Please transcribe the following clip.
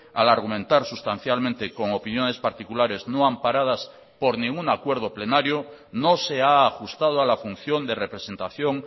al argumentar sustancialmente con opiniones particulares no amparadas por ningún acuerdo plenario no se ha ajustado a la función de representación